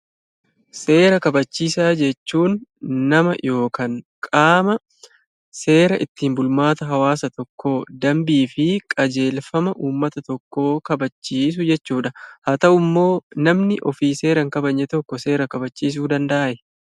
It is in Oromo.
Seera kabachiisaa jechuun nama yookaan qaama seera ittiin bulmaata hawaasa tokkoo, dambii fi qajeelfama uummata tokkoo kabachiisu jechuudha. Haa ta'u immoo namni ofii seera hin kabajne tokko seera kabachiisuu danda'aa?